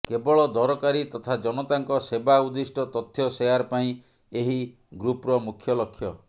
କେବଳ ଦରକାରୀ ତଥା ଜନତାଙ୍କ ସେବା ଉର୍ଦ୍ଦିଷ୍ଟ ତଥ୍ୟ ସେୟାର ପାଇଁ ଏହି ଗ୍ରୁପ୍ର ମୁଖ୍ୟ ଲକ୍ଷ୍ୟ